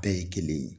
Bɛɛ ye kelen ye